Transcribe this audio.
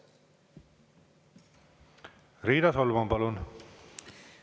Riina Solman, palun!